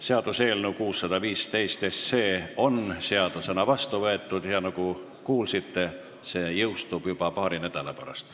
Seaduseelnõu 615 on seadusena vastu võetud ja nagu kuulsite, see jõustub juba paari nädala pärast.